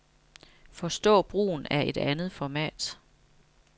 Forstå brugen af et andet format.